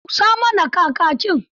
Busa mana Kakakin.